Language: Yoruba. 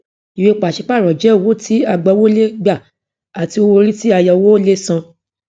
ìwé pàṣípààrọ jẹ owó tí agbawó lè gbà àti owó orí tí ayọwó lè san